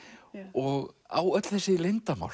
og á öll þessi leyndarmál